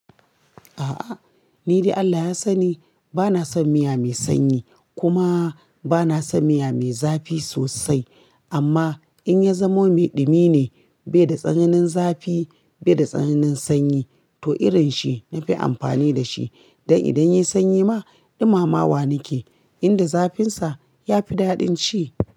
A'a, ni dai Allah ya sani bana son miya mai sanyi kuma bana son miya mai zafi sosai. Amma in ya zamo miɗumi ne bai da tsananin zafi bai da tsananin sanyi to irin shi na fi amfani da shi. Dan idan yayi sanyi ma ɗumama wa nake, inda zafin sa ya fi daɗin ci.